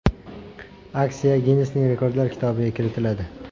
Aksiya Ginnessning rekordlar kitobiga kiritiladi.